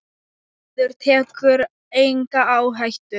Maður tekur enga áhættu!